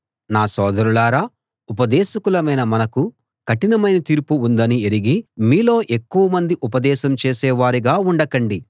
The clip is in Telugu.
నా సోదరులారా ఉపదేశకులమైన మనకు కఠినమైన తీర్పు ఉందని ఎరిగి మీలో ఎక్కువమంది ఉపదేశం చేసేవారుగా ఉండకండి